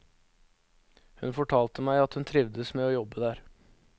Hun fortalte meg at hun trivdes med å jobbe der.